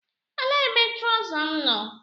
Elee ebe trọza m nọ?